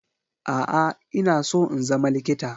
A'a. Ina so in zama likita